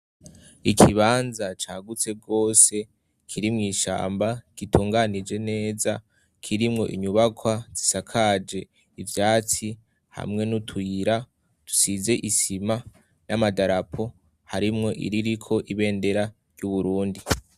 Ikibanza cagutse gose kiri mw'ishamba gitunganije neza kirimwo inyubakwa zisakaje ivyaci hamwe n'utuyira dusize isima n'amadarapo harimwo iririko ibendera ry'u Burundi.